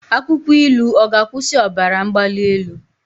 Akwụkwọ ilu ọ ga-akwụsị ọbara mgbali elu?